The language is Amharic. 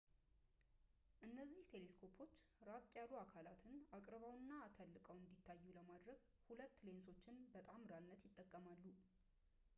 እነዚህ ቴሌስኮፖች ራቅ ያሉ አካላትን አቅርበውና አተልቀው እንዲታዩ ለማድረግ ሁለት ሌንሶችን በጣምራነት ይጠቀማሉ